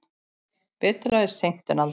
Betra er seint en aldrei!